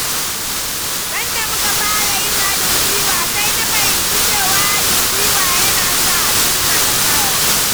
Sanda muka fara yin haɗin gwiwa, sai na fahimci cewa haɗin gwiwa yana sa a cimma nasara.